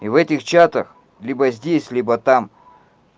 и в этих чатах либо здесь либо там